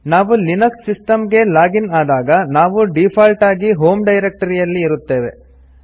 ನಾವು Linux system ಗೆ login ಆದಾಗ ನಾವು ಡಿಫಾಲ್ಟ್ ಆಗಿ ಹೋಂ ಡೈರೆಕ್ಟರಿ ಅಲ್ಲಿ ಇರುತ್ತೇವೆ